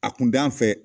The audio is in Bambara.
A kun t'an fɛ